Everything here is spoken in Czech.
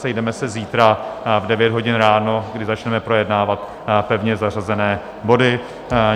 Sejdeme se zítra v 9 hodin ráno, kdy začneme projednávat pevně zařazené body.